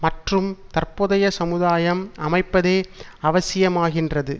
மற்றும் தற்போதைய சமுதாயம் அமைப்பதே அவசியமாகின்றது